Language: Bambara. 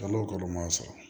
Kalo kalo m'a sɔrɔ